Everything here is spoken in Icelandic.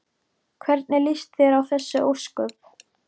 Hvernig líst þér á þessi ósköp?